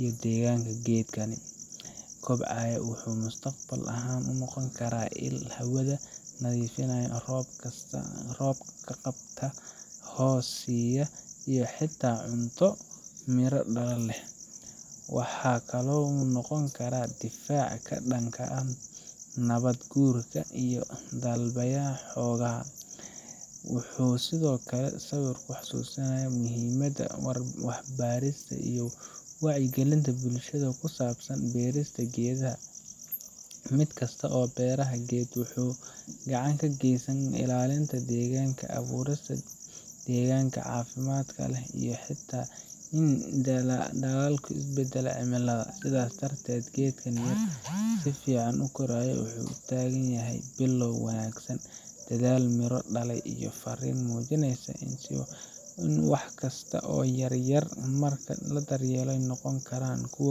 iyo deegaanka. Geedkan kobcaya wuxuu mustaqbal ahaan noqon karaa il hawada nadiifiya, roobka qabta, hoos siiya, iyo xitaa cunto ama miraha laga helo. Waxaa kale oo uu noqon karaa difaac ka dhan ah nabaad guurka iyo dabaylaha xooggan. Wuxuu sidoo kale sawirku xasuusinayaa muhiimadda waxbarista iyo wacyigelinta bulshada ku saabsan beerista geedaha. Mid kasta oo beera geed wuxuu gacan ka geysanayaa ilaalinta deegaanka, abuurista deegaan caafimaad leh, iyo xitaa la dagaallanka isbedelka cimilada. Sidaas darteed, geedkan yar ee si fiican u koraya wuxuu u taagan yahay bilow wanaagsan, dadaal miro dhalay, iyo fariin muujinaysa in wax kasta oo yaryar marka la daryeelo ay noqon karaan kuwo